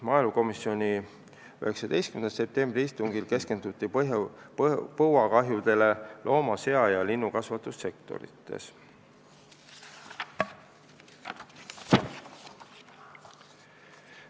Maaelukomisjoni 19. septembri istungil keskenduti põuakahjudele looma-, sea- ja linnukasvatussektoris.